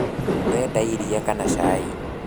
ũrenda iria kana cai?